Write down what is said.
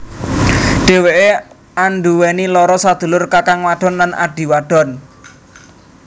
Dheweké anduweni loro sadulur kakang wadon lan adhi wadon